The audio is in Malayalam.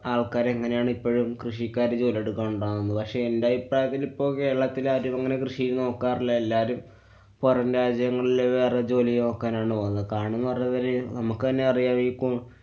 ആള്‍ക്കാരെങ്ങനെയാണ് ഇപ്പളും കൃഷിക്കാര് ജോലിയെടുക്കണ്ടാവുന്നത്. പക്ഷെ എന്‍ടെ അഭിപ്രായത്തില് ഇപ്പൊ കേരളത്തില് ആരും അങ്ങനെ കൃഷി ചെയ്യുന്ന ആള്‍ക്കാരല്ലാ. എല്ലാരും പൊറം രാജ്യങ്ങളില് വേറെ ജോലി നോക്കാനാണ് പോണത്. കാരണം നമ്മുക്കന്നെ അറിയാം ഈ